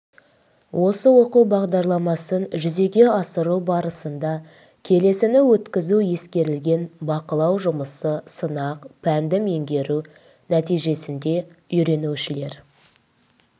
осы оқу бағдарламасын жүзеге асыру барысында келесіні өткізу ескерілген бақылау жұмысы сынақ пәнді меңгеру нәтижесінде үйренушілер